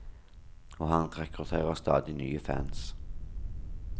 Og han rekrutterer stadig nye fans.